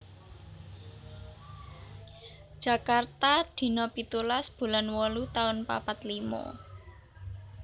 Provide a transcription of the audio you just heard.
Jakarta dina pitulas bulan wolu taun papat limo